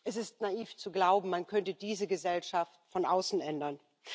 Es ist naiv zu glauben, man könnte diese Gesellschaft von außen ändern.